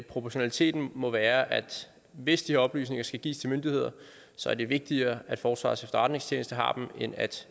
proportionaliteten må være at hvis de her oplysninger skal gives til myndigheder så er det vigtigere at forsvarets efterretningstjeneste har dem end at